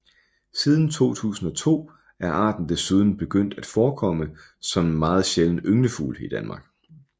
Siden 2002 er arten desuden begyndt at forekomme som en meget sjælden ynglefugl i Danmark